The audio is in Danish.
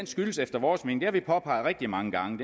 skyldes efter vores mening og vi påpeget rigtig mange gange